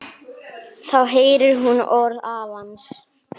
Þá heyrir hún orð afans.